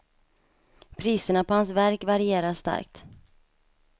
Priserna på hans verk varierar starkt.